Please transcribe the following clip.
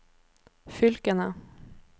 fylkene